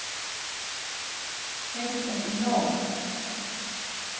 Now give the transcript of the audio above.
Hefur fengið nóg!